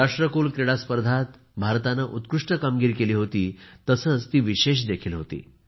राष्ट्रकुल क्रीडा स्पर्धेत भारताने उत्कृष्ट कामगिरी केली होती तसेच ती विशेष देखील होती